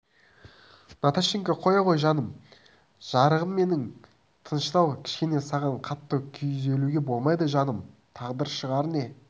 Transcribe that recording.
наташенька қоя ғой жаным жарығым менің тыныштал кішкене саған қатты күйзелуге болмайды жаным тағдыр шығар не